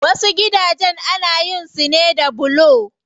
Wasu gidajen ana gina su ne da bulo.